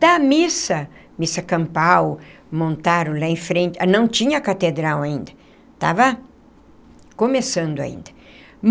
Da missa, missa campal, montaram lá em frente, não tinha a catedral ainda, estava começando ainda.